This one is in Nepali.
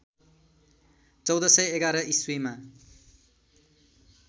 १४११ इस्वीमा